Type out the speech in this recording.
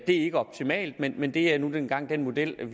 er ikke optimalt men men det er nu engang den model